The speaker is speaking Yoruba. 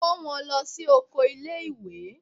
Kó wọn lọ sí oko ilé ìwé.